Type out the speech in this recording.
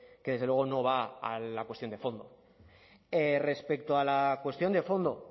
que desde luego no va a la cuestión de fondo respecto a la cuestión de fondo